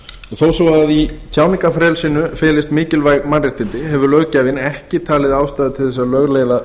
svo að í tjáningarfrelsinu felist mikilvæg mannréttindi hefur löggjafinn ekki talið ástæðu til að lögleiða